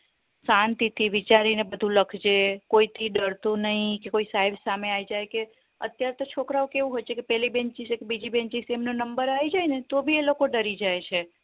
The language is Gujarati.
શાંતિ થી વિચારીને બધું લખજે કોઈ થી ડરતો નય કે કોઈ સાહેબ સામે આવી જાય કે અત્યારે તો છોકરાઓ કેવું હોય છે પેલી benches, બીજી benches એ એમના number આવી જાય ને તો ભી એ લોકો ડરી જાય છે